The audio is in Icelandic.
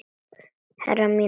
Herrar mínir.